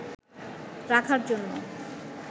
রাখার জন্য